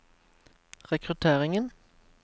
rekrutteringen